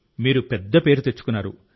మీరు పెద్ద పేరు తెచ్చుకున్నారు